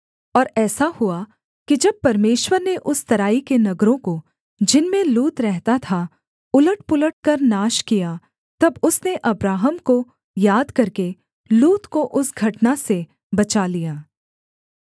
और ऐसा हुआ कि जब परमेश्वर ने उस तराई के नगरों को जिनमें लूत रहता था उलटपुलट कर नाश किया तब उसने अब्राहम को याद करके लूत को उस घटना से बचा लिया